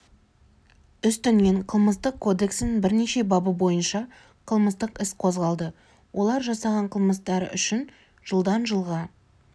үстінен қылмыстық кодексінің бірнеше бабы бойынша қылмыстық іс қозғалды олар жасаған қылмыстары үшін жылдан жылға